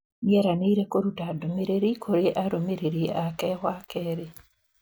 Nĩeranĩire kũruta ndũmĩrĩri kũrĩ arũmĩrĩri ake wakerĩ.